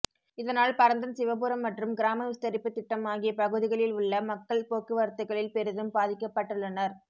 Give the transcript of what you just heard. இதனால் பரந்தன் சிவபுரம் மற்றும் கிராமவிஸ்தரிப்பு திட்டம் ஆகிய பகுதிகளில் உள்ள மக்கள் போக்குவரத்துக்களில் பெரிதும் பாதிக்கப்பட்டுள்ளனர்